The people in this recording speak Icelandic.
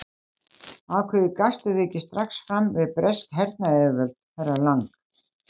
Af hverju gafstu þig ekki strax fram við bresk hernaðaryfirvöld, herra Lang?